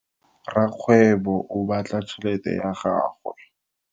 Rakgwebo o bala tšhelete ya gagwe.